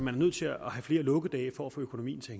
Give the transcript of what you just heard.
er nødt til at have flere lukkedage for at få økonomien til